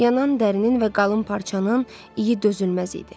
Yanan dərinin və qalın parçanın iyi dözülməz idi.